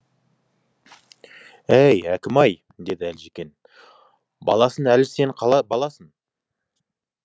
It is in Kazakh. әй әкім ай деді әлжекең баласың әлі сен баласың